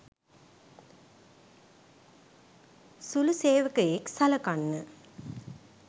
සුළු සේවකයෙක් සලකන්න